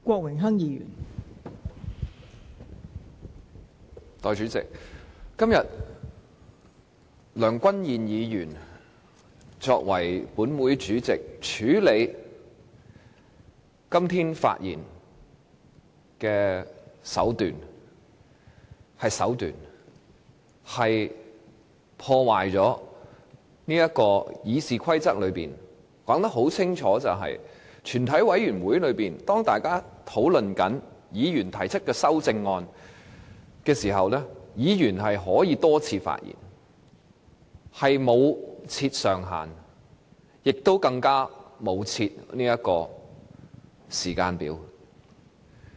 代理主席，身為立法會主席，梁君彥議員今天處理全體委員會階段發言的手段——是手段——破壞了《議事規則》。《議事規則》清楚訂明，在全體委員會審議階段，當大家討論議員提出的修正案時，議員可以多次發言，不設辯論時間上限，更不設時間表。